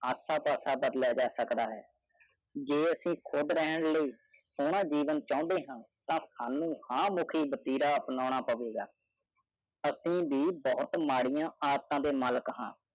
ਤੁਸੀਂ ਬਹੁਤ ਸ਼ਰਮੀਲੇ ਮਹਿਸੂਸ ਕਰ ਰਹੇ ਹੋ ਗਿਆ ਅੱਸੀ ਆਪ ਜੀਓ ਸੋਹਰਾ ਜੀਵਨ ਚਉੜੀ ਹੈ ਤਾ ਸਮੁ ਅਹਿ ਮਤਿਰਾ ਆਪਨ ਪਾਵੇ ਗਾ॥ ਅੱਸੀ ਵਾਵ ਭੂਤ ਮਾਰੀ ਅੱਟਨ ਡੇ ਮਲਿਕ ਹਾਂ